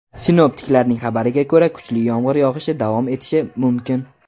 Sinoptiklarning xabariga ko‘ra, kuchli yomg‘ir yog‘ishi davom etishi mumkin.